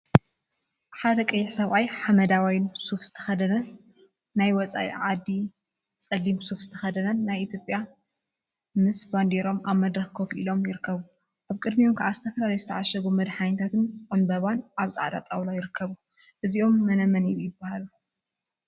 ሓደ ቀይሕ ሰብአይ ሓመደዋይ ሱፍ ዝተከደነ ናይ ወፃእ ዓዲን ፀሊም ሱፍ ዝተከደነት ናይ ኢትዮጵያዊትን መምስ ባንዴርኦም አብ መድረክ ኮፈ ኢሎም ይርከቡ፡፡ አብ ቅድሚኦም ከዓ ዝተፈላለዩ ዝተዓሸጉ መድሓኒታትን ዕምበባን አብ ፃዕዳ ጣውላ ይርከቡ፡፡ እዚኦም መነመን ይበሃሉ?